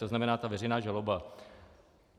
To znamená ta veřejná žaloba.